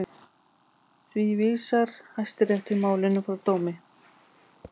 Því vísar Hæstiréttur málinu frá dómi